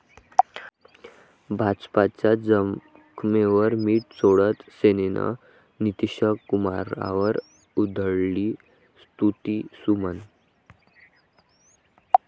भाजपच्या जखमेवर मिठ चोळत सेनेनं नितीशकुमारांवर उधळली स्तुतीसुमनं